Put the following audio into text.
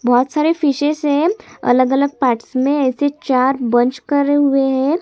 बहुत सारे फिशेस है अलग अलग पार्ट्स में ऐसे चार बंच करे हुए है |--